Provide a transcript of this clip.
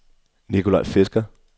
Nikolaj Fisker